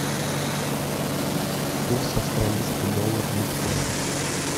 курс австралийский доллар биткоин